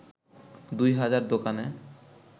২ হাজার দোকানে